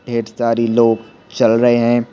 ढेर सारी लोग चल रहे हैं।